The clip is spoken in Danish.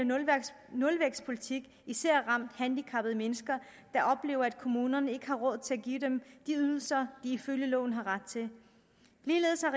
nulvækstpolitik især ramt handicappede mennesker der oplever at kommunerne ikke har råd til at give dem de ydelser de ifølge loven har ret til ligeledes har